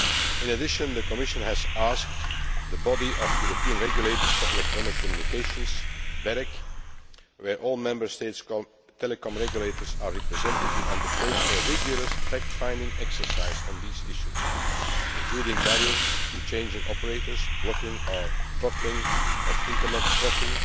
In addition, the Commission has asked the Body of European Regulators for Electronic Communications in which all the Member States' telecoms regulators are represented, to undertake a rigorous fact finding exercise on these issues, including barriers to changing operators, blocking or throttling of internet traffic,